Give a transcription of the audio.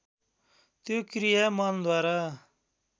त्यो क्रिया मनद्वारा